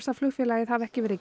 að flugfélagið hafi ekki verið